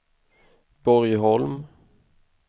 Borgholm